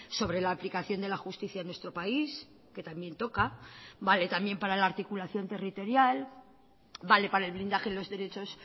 sobre la aplicación de la justicia en nuestro país que también toca vale también para la articulación territorial vale para el blindaje de los derechos